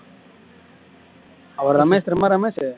அவர் ரமேஷ் நம்ம ரமேஷ்